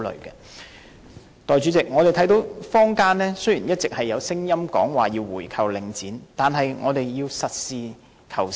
代理主席，雖然我們一直聽到坊間有聲音要求購回領展，但我們要實事求是。